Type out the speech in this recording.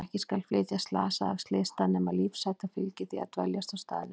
Ekki skal flytja slasaða af slysstað nema lífshætta fylgi því að dveljast á staðnum.